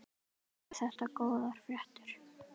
Eru þetta góðar fréttir?